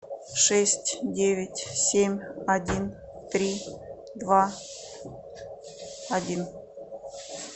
шесть девять семь один три два один